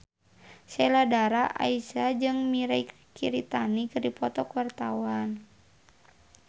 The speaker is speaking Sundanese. Sheila Dara Aisha jeung Mirei Kiritani keur dipoto ku wartawan